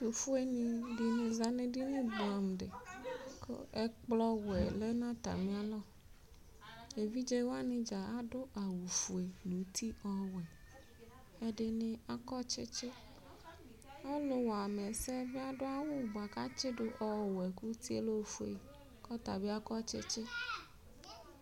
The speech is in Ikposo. Ɛtʋfueni dini zanʋ edini bʋɛamʋ di kʋ ɛkplɔwɛ lɛnʋ atali alɔ evidze wani dza adʋ awʋfue nʋ uti ɔwʋɛ ɛdini akɔ tsitsi ɔlʋwamɛ ɛsɛ bi asʋ awʋ bʋakʋ atsidʋ ɔwʋɛ kʋ uti yɛ lɛ ofue kʋ ɔtabi akɔ tsitsi